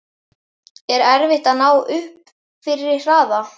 Er erfitt að ná upp fyrri hraða?